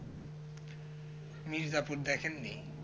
Mirzapur দেখেন নি